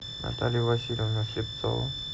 наталью васильевну слепцову